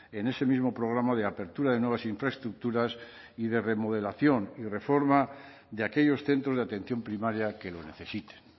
en ese mismo programa de apertura de nuevas infraestructuras y de remodelación y reforma de aquellos centros de atención primaria que lo necesiten